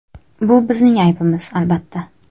Bu bizning aybimiz, albatta.